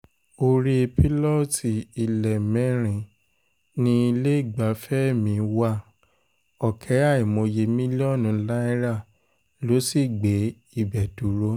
orí pílọ́ọ̀tì ilé mẹ́rin ní iléegbafẹ́ mi iléegbafẹ́ mi wá ọ̀kẹ́ àìmọye mílíọ̀nù náírà ló sì gbé ibẹ̀ dúró